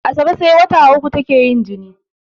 Asabe sai wata uku take yin jini